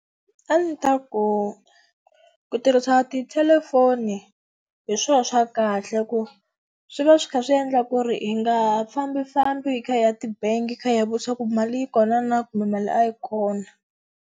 A ndzi ta ku ku tirhisa tithelefoni hi swo swa kahle ku swi va swi kha swi endla ku ri hi nga fambifambi hi kha hi ya ti-bank-i hi kha hi ya vutisa ku mali yi kona na kumbe mali a yi kona.